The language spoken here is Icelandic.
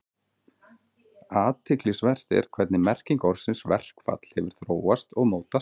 Athyglisvert er hvernig merking orðsins verkfall hefur þróast og mótast.